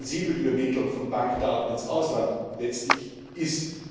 Es zeigt, wie sensibel die Übermittlung von Bankdaten ins Ausland letztlich ist.